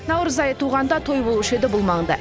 наурыз айы туғанда той болушы еді бұл маңда